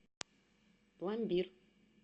пломбир